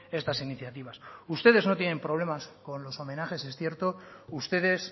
estas iniciativas ustedes no tienen problemas con los homenajes es cierto ustedes